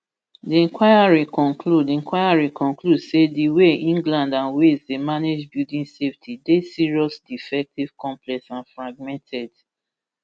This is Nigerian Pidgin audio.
di inquiry conclude inquiry conclude say di way england and wales dey manage building safety deyserious defective complex and fragmented